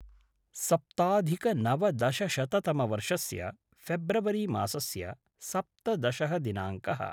सप्ताधिकनवदशशततमवर्षस्य फेब्रवरि मासस्य सप्तदशः दिनाङ्कः